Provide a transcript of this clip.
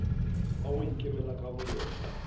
wa go ikemela ka boyena